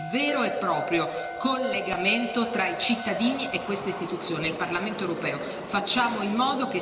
La commissione per le petizioni è il vero e proprio collegamento tra i cittadini e questa istituzione, il Parlamento europeo.